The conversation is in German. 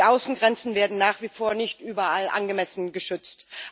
Die Außengrenzen werden nach wie vor nicht überall angemessen geschützt.